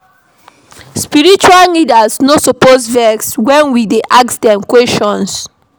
Spiritual leaders no suppose vex wen we dey ask dem questions.